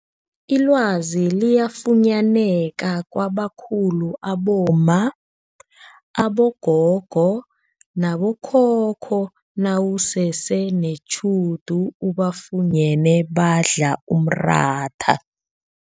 Ilwazi liyafunyaneka kwabakhulu abomma, abogogo nabo khokho nawusese netjhudu ubafunyene badla umratha.